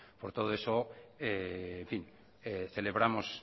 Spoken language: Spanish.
por todo eso celebramos